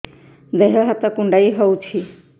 ଦେହ ହାତ କୁଣ୍ଡାଇ ହଉଛି